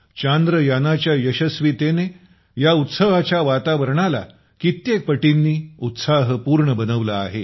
चांद्रयानाच्या यसस्वीतेने या उत्सवाच्या वातावरणाला कित्येक पटींनी उत्साहपूर्ण बनवलं आहे